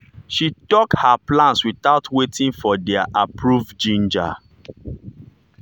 she talk her plans without waiting for their approve ginger.